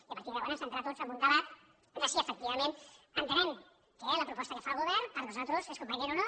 i a partir de llavors entrar tots en un debat de si efectivament entenem que la proposta que fa el govern per nosaltres és convenient o no